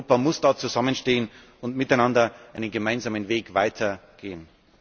Europa muss da zusammenstehen und miteinander einen gemeinsamen Weg weitergehen.